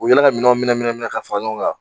U bi yala ka minɛnw minɛ minɛ minɛ ka fara ɲɔgɔn kan